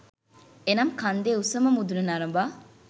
එනම් කන්දේ උසම මුදුන නරඹා